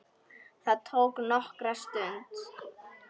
Það tók nokkra stund.